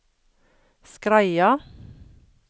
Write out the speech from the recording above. Skreia